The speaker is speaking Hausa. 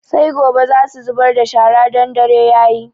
Sai gobe za su zubar da shara don dare yayi